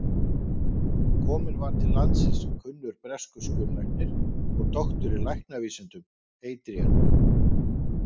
Kominn var til landsins kunnur breskur skurðlæknir og doktor í læknavísindum, Adrian